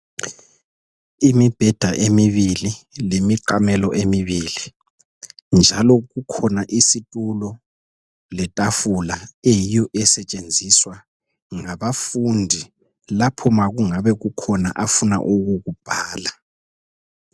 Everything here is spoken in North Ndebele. Imibheda emibili lemiqamelo emibili, njalo kukhona isitulo letafula eyiyo esetshenziswa ngabafundi lapho ma kungabekukhona afuna ukukubhala.